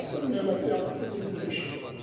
Bu əsl növbəti yağıntılı ilə girişidir.